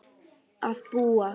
að búa.